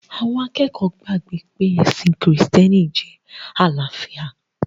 Àwọn akẹ́kọ̀ọ́ gbàgbọ̀ pé ẹ̀sìn krìstẹ́nì jẹ́ àlàáfíà